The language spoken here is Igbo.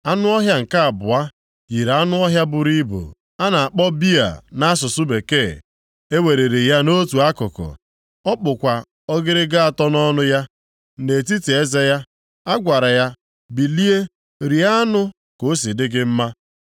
“Anụ ọhịa nke abụọ yiri anụ ọhịa buru ibu a na-akpọ bịa (nʼasụsụ bekee). E weliri ya nʼotu akụkụ, ọ kpụkwa ọgịrịga atọ nʼọnụ ya, nʼetiti eze ya. A gwara ya, ‘Bilie, rie anụ ka o si dị gị mma.’